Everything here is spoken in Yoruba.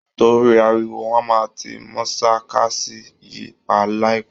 Torí ariwo, wọ́n máa ti mọ̀ṣàlkàsí yìí pa láìpẹ́